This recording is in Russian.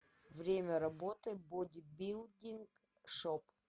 время работы бодибилдинг шоп